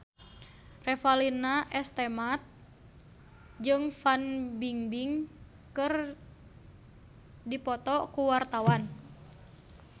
Revalina S. Temat jeung Fan Bingbing keur dipoto ku wartawan